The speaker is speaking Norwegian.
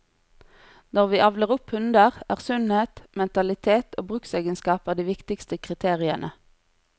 Når vi avler opp hunder, er sunnhet, mentalitet og bruksegenskaper de viktigste kriteriene.